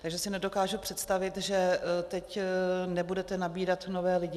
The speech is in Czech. Takže si nedokážu představit, že teď nebudete nabírat nové lidi.